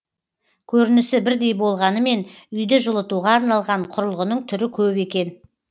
көрінісі бірдей болғанымен үйді жылытуға арналған құрылғының түрі көп екен